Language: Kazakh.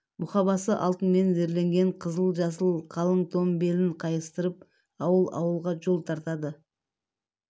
мұқабасы алтынмен зерленген қызыл-жасыл қалың том белін қайыстырып ауыл-ауылға жол тартады